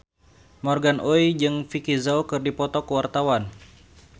Morgan Oey jeung Vicki Zao keur dipoto ku wartawan